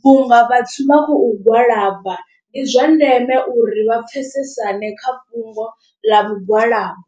Vhunga vhathu vha khou gwalaba ndi zwa ndeme uri vha pfesesane kha fhungo ḽa mugwalabo.